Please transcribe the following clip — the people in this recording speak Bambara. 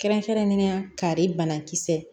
Kɛrɛnkɛrɛnnenya kari banakisɛ